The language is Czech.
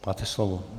Máte slovo.